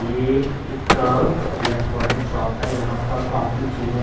ये एक electronic shop है यहाँ पर काफी चीज़े --